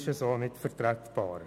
Diese ist so nicht vertretbar.